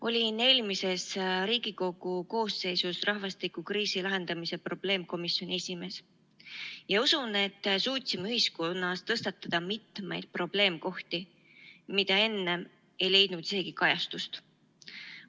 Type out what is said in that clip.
Olin eelmises Riigikogu koosseisus rahvastikukriisi lahendamise probleemkomisjoni esimees ja usun, et suutsime ühiskonnas tõstatada mitmeid probleemkohti, mis enne ei leidnud isegi kajastust.